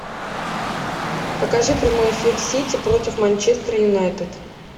покажи прямой эфир сити против манчестер юнайтед